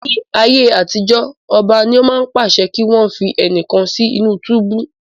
Ní ayé àtijó, ọba ni ó máa ń pàṣẹ kí wọn fi ẹnìkan sí inú túbú.